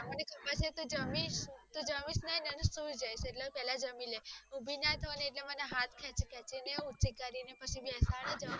મને ખબર છે, તું જમીશ, તું જમીશ નહીં ને તો સુઈ જઈશ, એટલે પેલા જમી લે, ઉભી ના થઉં ને એટલે એ મને હાથ ખેચી ખેચી ને ઉભી કરીને પછી બેસાડે જમાડે